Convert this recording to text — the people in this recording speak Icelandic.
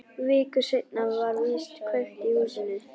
Viku seinna var víst kveikt í húsinu.